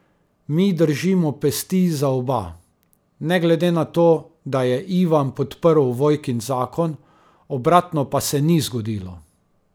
Mi držimo pesti za oba, ne glede na to, da je Ivan podprl Vojkin zakon, obratno pa se ni zgodilo.